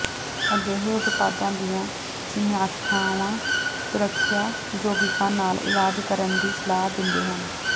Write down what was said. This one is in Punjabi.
ਅਜਿਹੇ ਉਤਪਾਦਾਂ ਦੀਆਂ ਸਮੀਖਿਆਵਾਂ ਸੁਰੱਖਿਆ ਯੌਗਿਕਾਂ ਨਾਲ ਇਲਾਜ ਕਰਨ ਦੀ ਸਲਾਹ ਦਿੰਦੇ ਹਨ